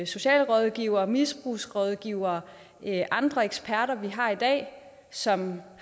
socialrådgivere misbrugsrådgivere og andre eksperter vi har i dag som